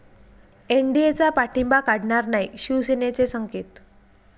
एनडीएचा पाठिंबा काढणार नाही, शिवसेनेचे संकेत